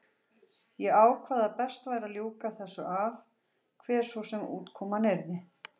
Ég ákvað að best væri að ljúka þessu af, hver svo sem útkoman yrði.